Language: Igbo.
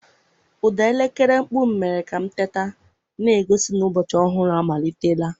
Ụda elekere mkpu m mere ka m teta, na-egosi na ụbọchị ọhụrụ amalitela.